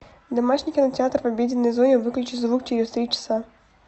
домашний кинотеатр в обеденной зоне выключи звук через три часа